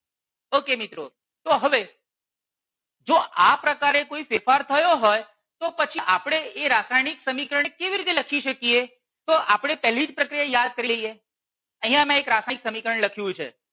okay મિત્રો તો હવે જો આ પ્રકારે કોઈ ફેરફાર થયો હોય તો પછી આપણે એ રાસાયણિક સમીકરણ કેવી રીતે લખી શકીએ તો આપણે પહેલી જ પ્રક્રિયા યાદ કરી લઈએ અહિયાં મેં એક રાસાયણિક સમીકરણ લખ્યું છે.